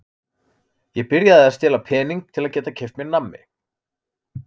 Ég byrjaði að stela pening til að geta keypt mér nammi.